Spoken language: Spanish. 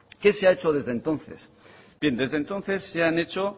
qué se ha hecho desde entonces bien desde entonces se han hecho